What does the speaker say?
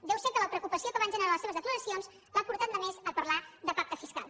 deu ser que la preocupació que van generar les seves declaracions l’ha portat només a parlar de pacte fiscal